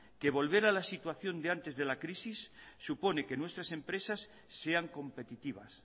que volver a la situación de antes de la crisis supone que nuestras empresas sean competitivas